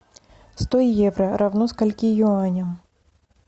сто евро равно скольки юаням